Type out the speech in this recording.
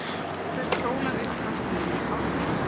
Hver sólarupprás minnir á upprisuna.